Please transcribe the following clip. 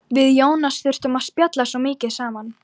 Við Jónas þurftum að spjalla svo mikið saman.